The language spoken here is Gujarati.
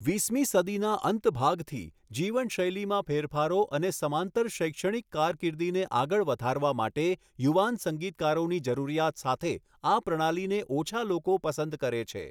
વીસમી સદીના અંત ભાગથી, જીવનશૈલીમાં ફેરફારો અને સમાંતર શૈક્ષણિક કારકિર્દીને આગળ વધારવા માટે યુવાન સંગીતકારોની જરૂરિયાત સાથે, આ પ્રણાલીને ઓછા લોકો પસંદ કરે છે.